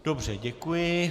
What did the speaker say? Dobře, děkuji.